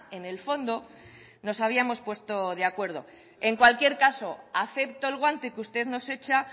en el fondo nos habíamos puesto de acuerdo en cualquier caso acepto el guante que usted nos hecha